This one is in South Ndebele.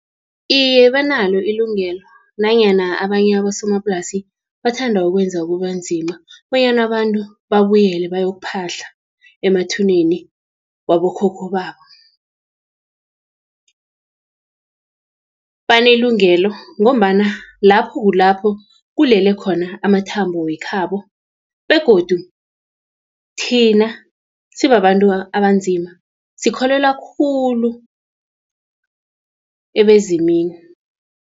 Iye banalo ilungelo, nanyana abanye abosomaplasi bathanda ukwenza kubanzima, bonyana abantu babuyele bayokuphahla emathuneni wabokhokho babo. Banelungelo, ngombana lapho kulapho kulele khona amathambo wekhabo, begodu thina sibabantu abanzima sikholwela khulu ebezimini.